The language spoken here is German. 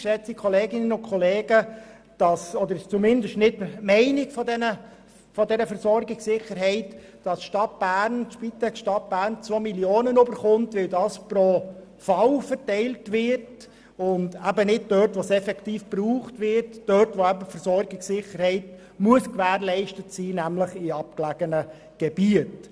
Geschätzte Kolleginnen und Kollegen, es kann nicht sein oder ist zumindest nicht die Meinung der Versorgungssicherheit, dass die Spitex Stadt Bern 2 Mio. Franken erhält, weil die Verteilung pro Fall vorgenommen wird statt dort, wo es die Versorgungssicherheit effektiv braucht und wo sie gewährleistet sein muss, nämlich in abgelegenen Gebieten.